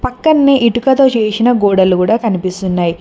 పక్కనే ఇటుకతో చేసిన గోడలు కూడా కనిపిస్తున్నాయి.